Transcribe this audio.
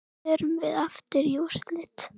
Förum við aftur í úrslit?